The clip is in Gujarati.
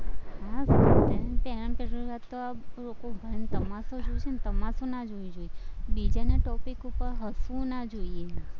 એમ જુઓ તો લોકો ભણીને તમાશો જોવે છેને તમાશો ના જોવો જોઈએ બીજાની topic ઉપર હસવું ના જોઈએ.